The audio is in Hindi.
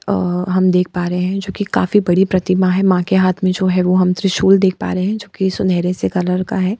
और हम देख पा रहें हैं जो की काफी बडी प्रतिमा है माँ के हाथ में जो है वो हम त्रिशूल देख पा रहें हैं जो की सुनहरे से कलर का है।